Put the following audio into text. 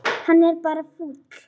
Hann er bara fúll.